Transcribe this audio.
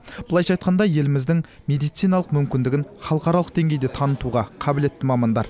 былайша айтқанда еліміздің медициналық мүмкіндігін халықаралық деңгейде танытуға қабілетті мамандар